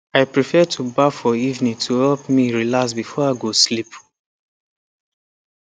i prefer to baff for evening to help me relax before i go sleep